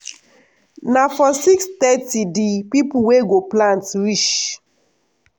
na for six thirty di pipo wey go plant reach.